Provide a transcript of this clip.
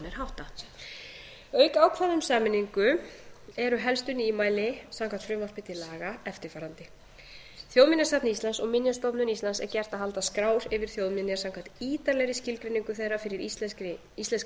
háttað auk ákvæða um sameiningu eru helstu nýmæli samkvæmt frumvarpi til laga eftirfarandi fyrsta þjóðminjasafni íslands og minjastofnun íslands er gert að halda skrár yfir þjóðminjar samkvæmt ítarlegri skilgreiningu þeirra fyrir íslenska